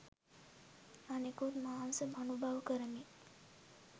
අනෙකුත් මාංශ අනුභව කරමින්